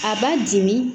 A b'a dimi